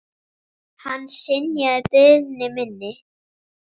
Hann synjaði beiðni minni.